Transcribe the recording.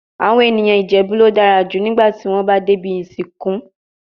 Awon eniyan Ijebu lo dara ju nigba ti won ba de ibi isinku